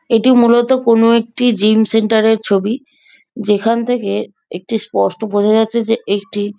এটি মূলত কোনো একটি জিম সেন্টারের ছবি যেখান থেকে একটি স্পষ্ট বোঝা যাচ্ছে যে একটি--